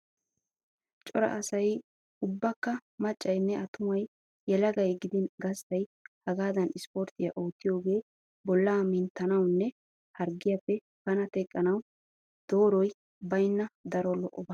Cora asay ubbakka maccaynne attumay yelagay gidin gasttay hagaadan isporttiya oottiyogee bollaa minttanawunne harggiyappe bana teqqanawu dooroy baynna daro lo"oba.